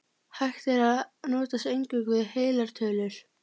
Hægt yrði að notast eingöngu við heilar tölur.